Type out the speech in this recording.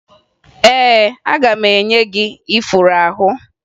Ee, aga m enye gị ifuru ahụ